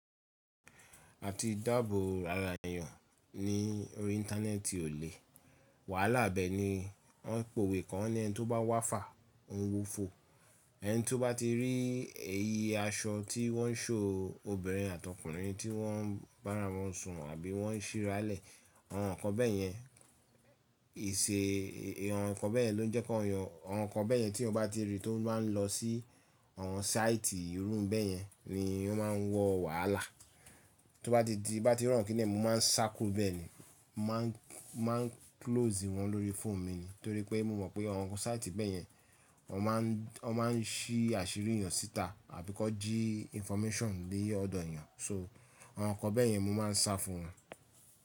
A ti dáàbò árà ènìyàn ní orí íńtánẹ́ẹ̀tì ò lè. Wàhálà ibẹ̀ ni, wọ́n ń pe òwe kan wọn ní ẹni tó bá wá fàá, òun wó fo. Ẹni tí ó bá ti rí èyí aṣọ tí wọ́n ń ṣhow obìnrin àti ọkùnrin tí wọ́n bára wọn sùn àbí wọ́n ń ṣíra lẹ̀, àwọn nǹkan bẹ́ẹ̀ yẹn, ìṣe àwọn nǹkan bẹ́ẹ̀ yẹn ló jẹ́ kí èyàn àwọn nǹkan bẹ́ẹ̀ yẹn tí mo bá ti rí tó bá ń lọ sí àwọn sáìtì irú bẹ́ẹ̀ yẹn ni ó máa ń wọ wàhálà. Tó bá ti di, tí n bá ti rí àwọn kini yẹn mo máa ń sá kúrò ní bẹ́ẹ̀ ni, mo máa ń close wọn lórí fóònù mi ni torí mo mọ̀pé àwọn sáìtì bẹ́ẹ̀ yẹn wọ́n máa ń ṣí àṣírí èèyàn sí ìta àbí kan jí information ní ọ̀dọ̀ èèyàn so àwọn nǹkan bẹ́ẹ̀ yẹn mo máa ń sá fún wọn.